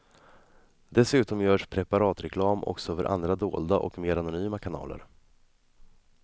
Dessutom görs preparatreklam också över andra dolda och mer anonyma kanaler.